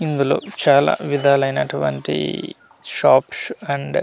ఇందులో చాలా విధాలు అయినటువంటి షాప్స్ అండ్ .